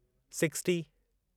sixty